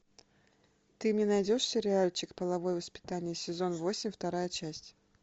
ты мне найдешь сериальчик половое воспитание сезон восемь вторая часть